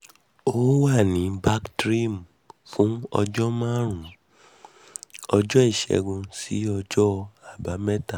ó wà ní bactrim fún ọjọ́ márùn-ún ọjọ́ ìṣẹ́gun sí ọjọ́ àbámẹ́ta